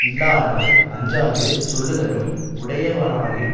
இல்லானாய் அஞ்சாது சொல்லுதலும் உடையவனாயின்